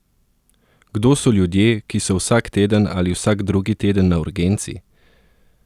Kdo so ljudje, ki so vsak teden ali vsak drugi teden na urgenci?